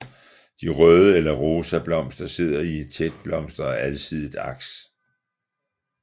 De røde eller rosa blomster sidder i et tætblomstret og alsidigt aks